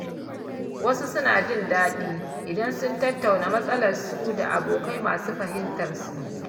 Wasu suna jin daɗi idan sun tattauna matsalarsu da abokai masu fahimtarsu.